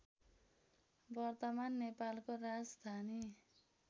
वर्तमान नेपालको राजधानी